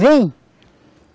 Vem!